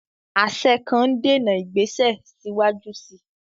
Àṣẹ kan ń dènà ìgbésẹ̀ síwájú sí i.